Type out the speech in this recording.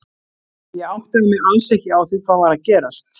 Ég áttaði mig alls ekki á því hvað var að gerast.